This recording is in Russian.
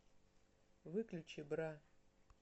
выключи бра